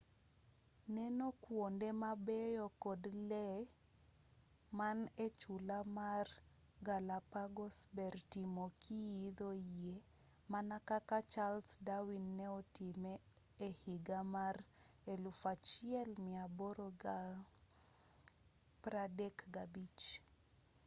neno kuonde mabeyo kod lee man echula mar galapagos ber timo kiidho yie mana kaka charles darwin ne otime ehiga mar 1835